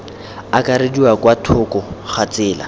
akarediwa kwa thoko ga tsela